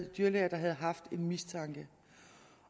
dyrlæger der havde haft en mistanke